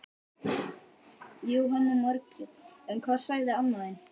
Þurrkið kjötsneiðarnar og berjið þær létt með hnúunum.